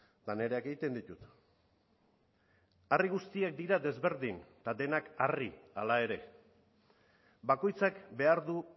eta nireak egiten ditut harri guztiak dira desberdin eta denak harri hala ere bakoitzak behar du